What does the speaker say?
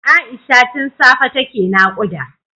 Aisha tun safe take nakuda